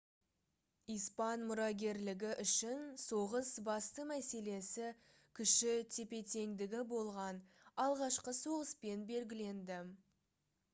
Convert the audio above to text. испан мұрагерлігі үшін соғыс басты мәселесі күші тепе-теңдігі болған алғашқы соғыспен белгіленді